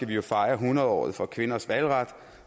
vi jo fejre hundredåret for kvinders valgret